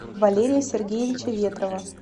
валерия сергеевича ветрова